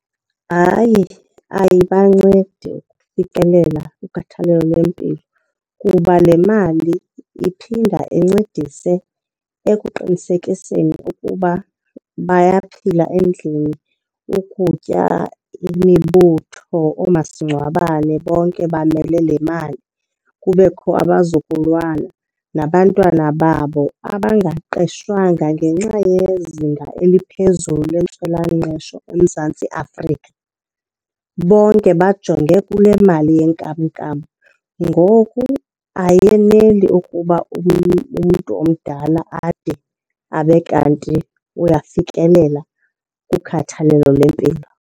Hayi, ayibancedi ukufikelela kukhathalelo lempilo kuba le mali iphinda incedise ekuqinisekiseni ukuba bayaphila endlini, ukutya, imibutho, oomasingcwabane bonke bamele le mali. Kubekho abazukulwana nabantwana babo abangaqeshwanga ngenxa yezinga eliphezulu lentswelangqesho eMzantsi Afrika. Bonke bajonge kule mali yenkamnkam. Ngoku ayeneli ukuba umntu omdala ade abe kanti uyafikelela kukhathalelo lwempilo.